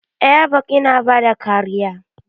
Airbag yana bada kariya.